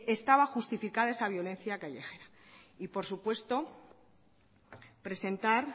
estaba justificada esa violencia callejera y por supuesto presentar